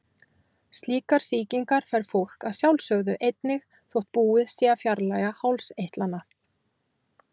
Slíkar sýkingar fær fólk að sjálfsögðu einnig þótt búið sé að fjarlægja hálseitlana.